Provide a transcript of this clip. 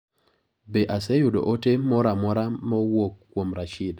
Be aseyudo ote moro amora ma owuok kuom Rashid.